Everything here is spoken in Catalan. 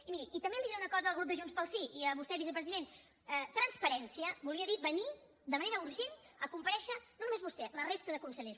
i miri també diré una cosa al grup de junts pel sí i a vostè vicepresident transparència volia dir venir de manera urgent a comparèixer no només vostè la resta de consellers